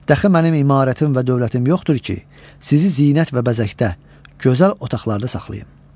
Dəxi mənim imarətim və dövlətim yoxdur ki, sizi zinət və bəzəkdə, gözəl otaqlarda saxlayım.